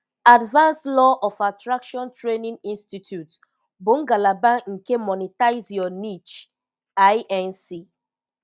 Advanced Law of Attraction Training Institute bụ ngalaba nke Monetize Your Niche®, Inc.